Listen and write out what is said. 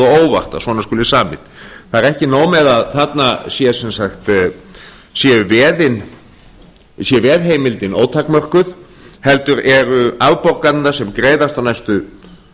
óvart að svona skuli samið það er ekki nóg með að þarna sé veðheimildin ótakmörkuð heldur eru afborganirnar sem greiðast á næstu